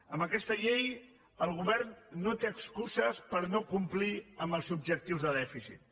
amb aquesta llei el govern no té excuses per no complir amb els objectius de dèficit